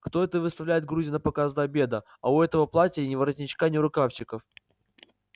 кто это выставляет груди напоказ до обеда а у этого платья ни воротничка ни рукавчиков